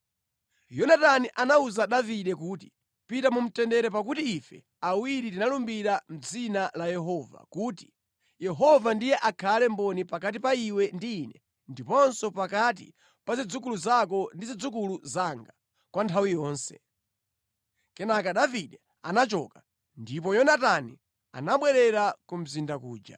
Yonatani anawuza Davide kuti, “Pita mu mtendere pakuti ife awiri tinalumbira mʼdzina la Yehova kuti, ‘Yehova ndiye akhale mboni pakati pa iwe ndi ine ndiponso pakati pa zidzukulu zako ndi zidzukulu zanga kwa nthawi yonse.’ ” Kenaka Davide anachoka, ndipo Yonatani anabwerera ku mzinda kuja.